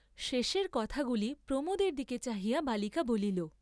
শেষের কথাগুলি প্রমোদের দিকে চাহিয়া বালিকা বলিল।